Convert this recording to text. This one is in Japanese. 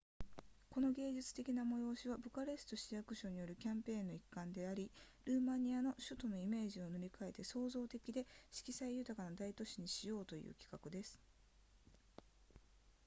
この芸術的な催しはブカレスト市役所によるキャンペーンの一環でもありルーマニアの首都のイメージを塗り変えて創造的で色彩豊かな大都市にしようという企画です